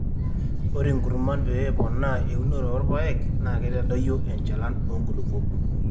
ore inkurman pee eponaa eunore oorpaek naa keitadoyio enchalan oo nkulupuok